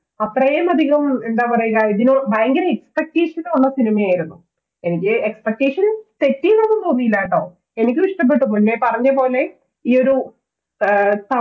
അത്രയും അധികം എന്താ പറയുക ഇതിന് ഭയങ്കര expectation ഉള്ള സിനിമയായിരുന്നു. എനിക്ക് expectation ഒന്നും തെറ്റി എന്നൊന്നും തോന്നിയില്ല ട്ടോ എനിക്കും ഇഷ്ടപ്പെട്ടു പിന്നെ പറഞ്ഞപോലെ ഈയൊരു ആഹ്